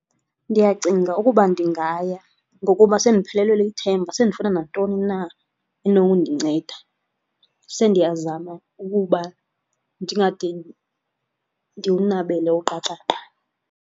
Ndiyacinga ukuba ndingaya ngokuba sendiphelelwe lithemba sendifuna nantoni na enokundinceda, sendiyazama ukuba ndingade ndiwunabele uqaqaqa.